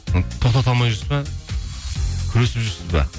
тоқтата алмай жүрсіз бе күресіп жүрсіз бе